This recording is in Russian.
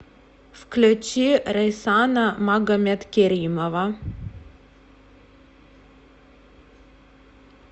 включи рейсана магомедкеримова